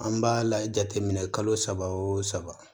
An b'a la jateminɛ kalo saba o saba